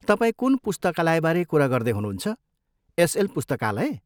तपाईँ कुन पुस्तकालयबारे कुरा गर्दै हुनुहुन्छ, एसएल पुस्तकालय?